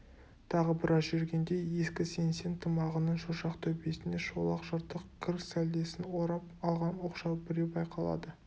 тағы біраз жүргенде ескі сеңсең тымағының шошақ төбесіне шолақ жыртық кір сәлдесін орап алған оқшау біреу байқалды